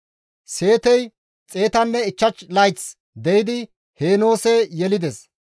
Seetey 105 layth de7idi Heenoose yelides;